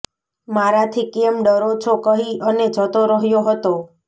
મારાથી કેમ ડરો છો કહી અને જતો રહ્યો હતો